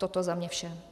Toto za mne vše.